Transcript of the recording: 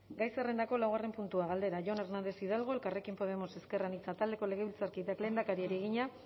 gai zerrendako laugarren puntua galdera jon hernández hidalgo elkarrekin podemos ezker anitza taldeko legebiltzarkideak lehendakariari egina